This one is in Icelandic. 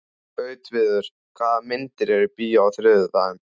Gautviður, hvaða myndir eru í bíó á þriðjudaginn?